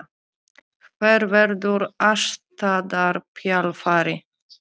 Hver verður aðstoðarþjálfari?